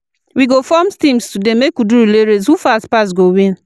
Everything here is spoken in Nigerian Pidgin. We go form teams today, make we do relay race, who fast pass go win.